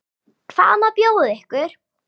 Hvað má bjóða ykkur?